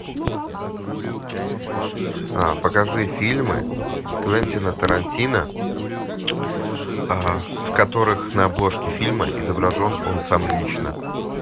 покажи фильмы квентина тарантино в которых на обложке фильма изображен он сам лично